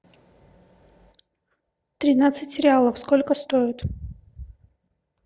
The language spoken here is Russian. тринадцать реалов сколько стоит